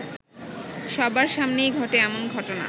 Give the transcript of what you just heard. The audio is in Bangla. সবার সামনেই ঘটে এমন ঘটনা